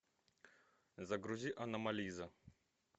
загрузи аномализа